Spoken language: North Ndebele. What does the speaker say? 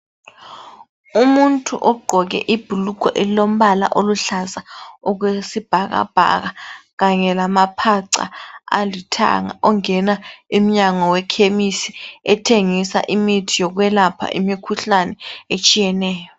Umuntu ogqoke ibhulugwe elilombala oluhlaza okwesibhakabhaka kanye lamaphaca alithanga, ongena emnyango wekhemisi ethengisa imithi yokwelapha imikhuhlane etshiyeneyo.